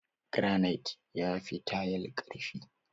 Garanait ya fi tayal ƙarfi.